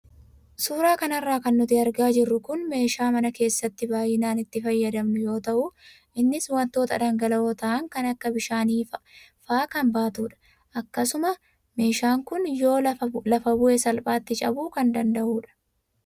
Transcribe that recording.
Suuraa kanarra kan nuti argaa jirru kun meeshaa mana keessatti baayinaan itti fayyadamnu yoo tahu Innis waantota dhangala'oo tahan kan akka bishaanii faa kan baatudha. Akkasuma meeshaan kun yoo lafa bu'e salphaatti cabuu kan danda'udha.